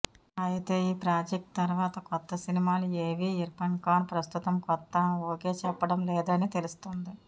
అయితే ఈ ప్రాజెక్ట్ తర్వాత కొత్త సినిమాలు ఏవీ ఇర్ఫాన్ ఖాన్ ప్రస్తుతం కొత్త ఒకే చెప్పడం లేదని తెలుస్తుంది